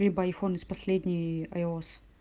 либо айфон из последний айос